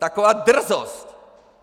Taková drzost!!!